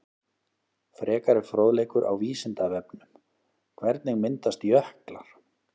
Frekari fróðleikur á Vísindavefnum: Hvernig myndast jöklar?